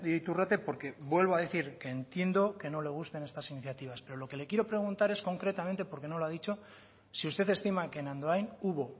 iturrate porque vuelvo a decir entiendo que no le gusten estás iniciativas pero lo que le quiero preguntar es concretamente porque no lo ha dicho si usted estiman que en andoain hubo